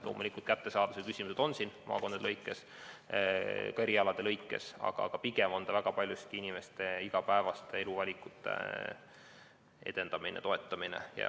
Loomulikult, siin on kättesaadavuse küsimused maakondade lõikes, ka erialade lõikes, aga pigem on see väga paljuski inimeste igapäevaste eluvalikute edendamine ja toetamine.